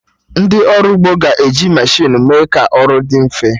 Ndị ọrụ ugbo ga-eji mechinu mee ka ọrụ dị mfe